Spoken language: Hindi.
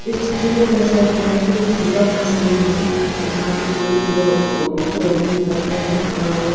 इस चित्र में यह दर्शाया गया है कि सुबह का सीन है जहां पे सुर्य देव उग रहे हैं निकल रहे हैं और--